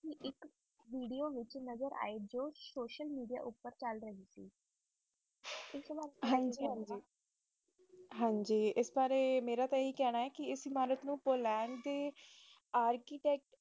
video ਜੋ ਕ social media ਉਤੇ ਚਾਲ ਰਹੀ ਸੀ ਇਸ ਅਬਰ ਕਿ ਕਹੋ ਗੇ ਹਨ ਜੀ ਜੇ ਮੇਰਾ ਤੇ ਆਏ ਹੈ ਕਹਿਣਾ ਹੈ ਕ ਇਸ ਨੂੰ ਪੋਲੰਡ ਦੇ ਰਚੀਟੈਕਟ